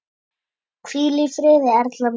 Hvíl í friði Erla mín.